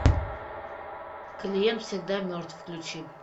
клиент всегда мертв включи